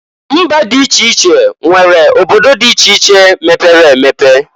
Mba dị iche iche nwere obodo dị iche iche mepere emepe.